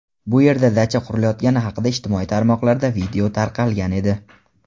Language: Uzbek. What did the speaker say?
bu yerda dacha qurilayotgani haqida ijtimoiy tarmoqlarda video tarqalgan edi.